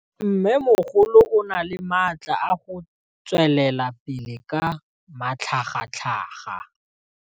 Mmêmogolo o na le matla a go tswelela pele ka matlhagatlhaga.